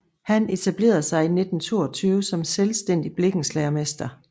Han etablerede sig 1922 som selvstændig blikkenslagermester